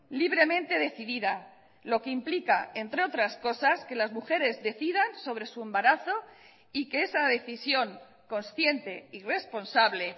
libremente decidida lo que implica entre otras cosas que las mujeres decidan sobre su embarazo y que esa decisión consciente y responsable